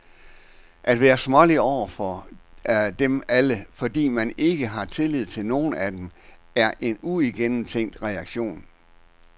At være smålig over for dem alle, fordi man ikke har tillid til nogle af dem, er en uigennemtænkt reaktion.